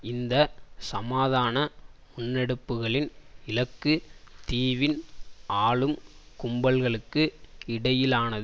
இந்த சமாதான முன்னெடுப்புகளின் இலக்கு தீவின் ஆளும் கும்பல்களுக்கு இடையிலான